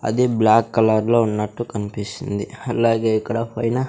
అది బ్లాక్ కలర్లో ఉన్నట్టు కన్పిస్తుంది అలాగే ఇక్కడ పైన--